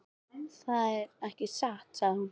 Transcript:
Það er ekki satt, sagði hún.